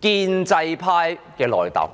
建制派的內訌。